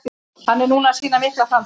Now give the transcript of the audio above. Hann er núna að sýna miklar framfarir.